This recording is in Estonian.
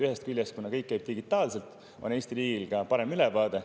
Ühest küljest, kuna kõik käib digitaalselt, on Eesti riigil parem ülevaade.